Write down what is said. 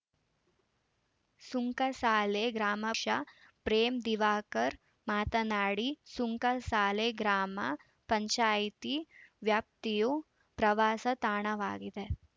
ಸುಂಕಸಾಲೆ ಗ್ರಾಮ ಕ್ಷ ಪ್ರೇಮ್‌ ದಿವಾಕರ್‌ ಮಾತನಾಡಿ ಸುಂಕಸಾಲೆ ಗ್ರಾಮ ಪಂಚಾಯಿತಿ ವ್ಯಾಪ್ತಿಯು ಪ್ರವಾಸಿ ತಾಣವಾಗಿದೆ